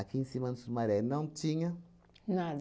em cima do Sumaré não tinha nada.